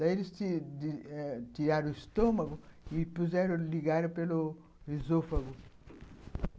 Daí, eles tiraram o estômago e ligaram pelo esôfago.